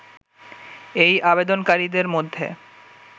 এই আবেদনকারীদের মধ্যে